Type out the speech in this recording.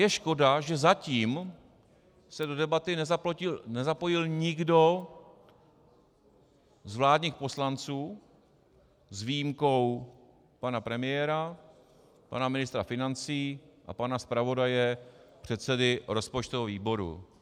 Je škoda, že zatím se do debaty nezapojil nikdo z vládních poslanců, s výjimkou pana premiéra, pana ministra financí a pana zpravodaje předsedy rozpočtového výboru.